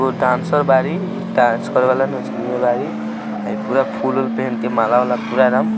दो डांसर बाड़ी ई डांस करेला हाई पूरा फुल वुल पहनके माला वाला